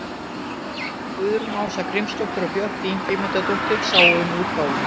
Guðrún Ása Grímsdóttir og Björk Ingimundardóttir sáu um útgáfuna.